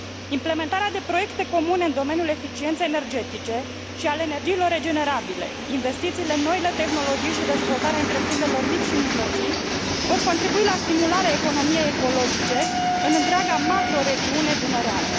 Implementarea de proiecte comune în domeniul eficienței energetice și al energiilor regenerabile, investițiile în noile tehnologii și dezvoltarea întreprinderilor mici și mijlocii vor contribui la stimularea economiei ecologice în întreaga macroregiune dunăreană.